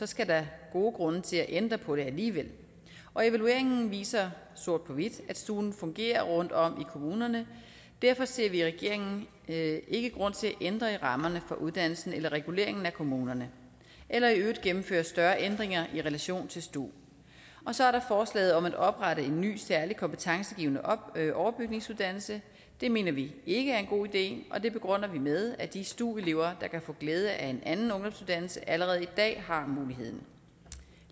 skal der gode grunde til at ændre på det alligevel evalueringen viser sort på hvidt at stuen fungerer rundtomkring kommunerne derfor ser vi i regeringen ikke grund til at ændre i rammerne for uddannelsen eller reguleringen af kommunerne eller i øvrigt gennemføre større ændringer i relation til stu så er der forslaget om at oprette en ny særlig kompetencegivende overbygningsuddannelse det mener vi ikke er en god idé og det begrunder vi med at de stu elever der kan få glæde af en anden ungdomsuddannelse allerede i dag har muligheden